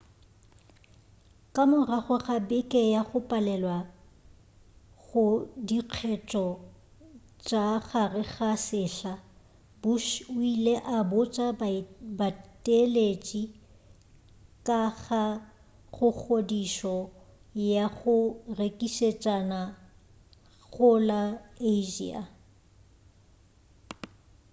ka morago ga beke ya go palelwa go dikgetho tša gare ga sehla bush o ile a botša bateeletši ka ga godišo ya go rekišetšana go la asia